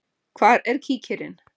Hvar er kíkirinn?